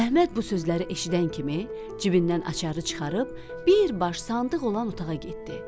Əhməd bu sözləri eşidən kimi cibindən açarı çıxarıb, bir baş sandıq olan otağa getdi.